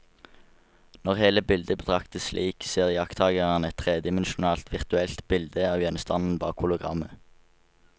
Når hele bildet betraktes slik, ser iakttakeren et tredimensjonalt virtuelt bilde av gjenstanden bak hologrammet.